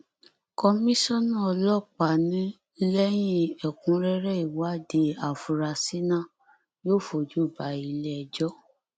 kọmísánná ọlọpàá ní lẹyìn ẹkúnrẹrẹ ìwádìí afurasí náà yóò fojú bá iléẹjọ